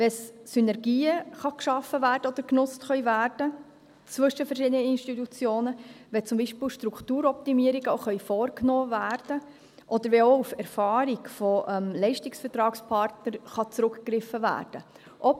wenn zwischen verschiedenen Institutionen Synergien geschaffen oder genutzt werden können, wenn zum Beispiel auch Strukturoptimierungen vorgenommen werden können, oder wenn auch auf die Erfahrung von Leistungsvertragspartnern zurückgegriffen werden kann.